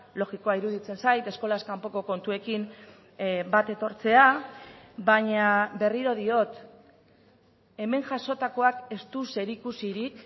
logikoa iruditzen zait eskolaz kanpoko kontuekin bat etortzea baina berriro diot hemen jasotakoak ez du zerikusirik